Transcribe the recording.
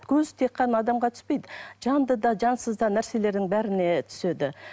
көз тек қана адамға түспейді жанды да жансыз да нәрселердің бәріне түседі